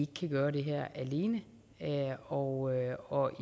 kan gøre det her alene og og